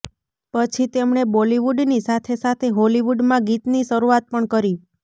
પછી તેમણે બોલીવુડની સાથે સાથે હોલીવુડમાં ગીતની શરૂઆત પણ કરી